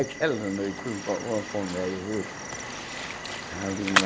Aquela noite foi uma comédia, viu? Ave